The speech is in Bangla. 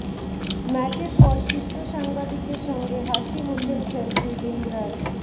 ম্যাচের পর চিত্র সাংবাদিকের সঙ্গে হাসি মুখেই সেলফি বিন্দ্রার